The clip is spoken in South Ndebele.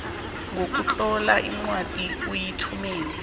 ngokutlola incwadi uyithumele